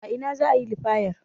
A ina za a yi liyafar?